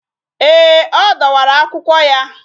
Ee, ọ dọwara akwụkwọ ya